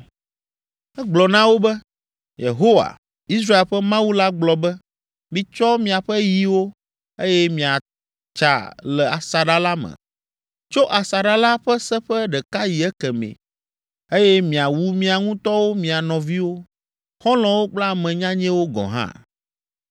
Egblɔ na wo be, “Yehowa, Israel ƒe Mawu la gblɔ be, ‘Mitsɔ miaƒe yiwo, eye miatsa le asaɖa la me, tso asaɖa la ƒe seƒe ɖeka yi ekemɛ, eye miawu mia ŋutɔwo mia nɔviwo, xɔlɔ̃wo kple ame nyanyɛwo gɔ̃ hã.’ ”